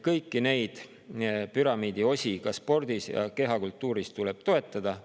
Kõiki neid püramiidi osi, ka spordi ja kehakultuuri puhul, tuleb toetada.